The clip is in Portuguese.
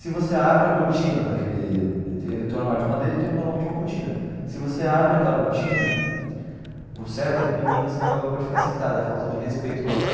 Se você abre a cortina daquele, ele tem um armário de madeira e tem normalmente uma cortina, se você abre aquela cortina, o certo é que ninguém na sinagoga pode ficar sentado, é falta de respeito com a torá.